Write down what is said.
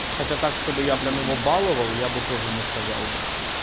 хотя так чтобы я прям его баловал я бы тоже не сказал бы